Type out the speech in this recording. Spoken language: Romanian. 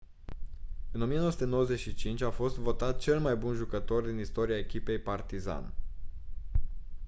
în 1995 a fost votat cel mai bun jucător din istoria echipei partizan